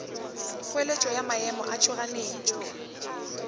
kgoeletšo ya maemo a tšhoganetšo